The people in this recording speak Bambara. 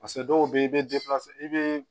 Paseke dɔw bɛ yen i bɛ i bɛ